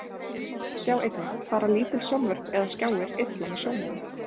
Sjá einnig: Fara lítil sjónvörp eða skjáir illa með sjónina?